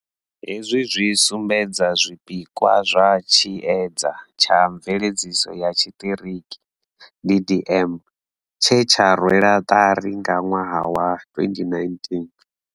Hezwi zwi sumbedza zwipikwa zwa tshiedza tsha mveledziso ya tshiṱiriki DDM, tshe tsha rwelwa ṱari nga ṅwaha wa 2019.